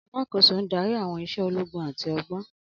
Alákòóso ń darí àwọn iṣẹ́ ológun àti ọgbọ́n.